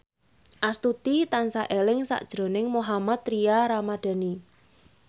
Astuti tansah eling sakjroning Mohammad Tria Ramadhani